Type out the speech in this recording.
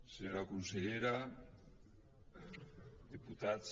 senyora consellera diputats